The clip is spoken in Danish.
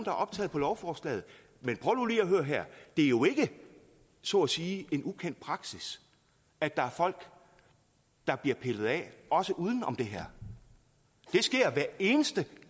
er optaget på lovforslaget men prøv nu lige at høre her det er jo ikke så at sige en ukendt praksis at der er folk der bliver pillet af også uden om det her det sker hver eneste